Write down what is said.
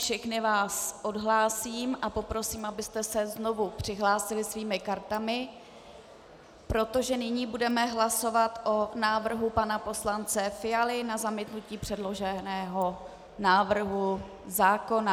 Všechny vás odhlásím a poprosím, abyste se znovu přihlásili svými kartami, protože nyní budeme hlasovat o návrhu pana poslance Fialy na zamítnutí předloženého návrhu zákona.